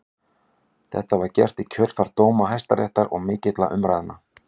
Þetta var gert í kjölfar dóma Hæstaréttar og mikilla umræðna.